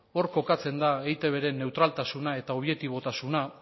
hor kokatzen da eitbren neutraltasuna eta objektibotasuna